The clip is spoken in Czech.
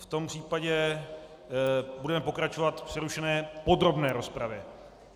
V tom případě budeme pokračovat v přerušené podrobné rozpravě.